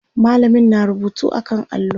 mallamin na rubutu a kan allo